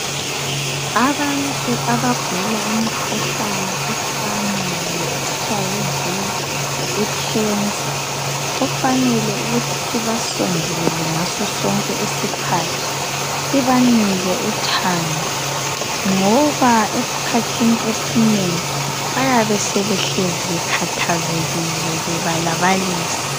Abantu abagula imikhuhlane efana le HIV ,icancer kufanele ukuthi sibasondelele ngaso sonke isikhathi sibanike uthando ngoba eskhathini esinengi bayabe sebehlezi bekhathazekile bebalabalisa .